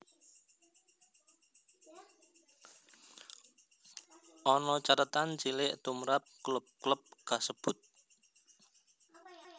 Ana cathetan cilik tumrap klub klub kasebut